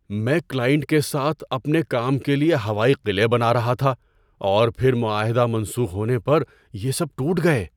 میں کلائنٹ کے ساتھ اپنے کام کے لیے ہوائی قلعے بنا رہا تھا اور پھر معاہدہ منسوخ ہونے پر یہ سب ٹوٹ گئے۔